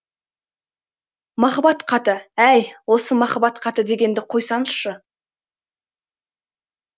махаббат хаты әй осы махаббат хаты дегенді қойсаңызшы